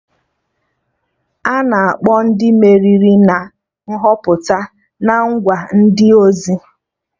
Ana akpọ Ndị meriri na Nhọpụta na ngwa ndị ozi